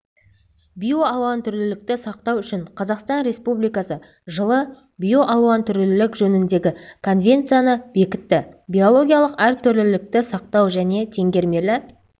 биоалуантүрлілікті сақтау үшін қазақстан республикасы жылы биоалуантүрлілік жөніндегі конвенцияны бекітті биологиялық әртүрлілікті сақтау және теңгермелі